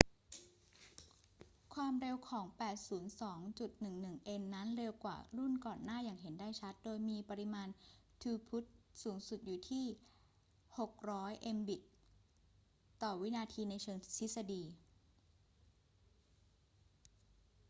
ความเร็วของ 802.11n นั้นเร็วกว่ารุ่นก่อนหน้าอย่างเห็นได้ชัด โดยมีปริมาณทรูพุตสูงสุดอยู่ที่ 600 mbit/s ในเชิงทฤษฎี